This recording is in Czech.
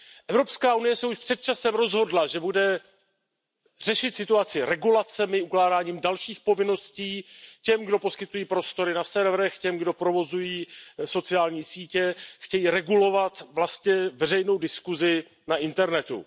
Evropská unie se už před časem rozhodla, že bude řešit situaci regulacemi, ukládáním dalších povinností těm, kdo poskytují prostory na serverech, těm, kdo provozují sociální sítě, chce regulovat vlastně veřejnou diskusi na internetu.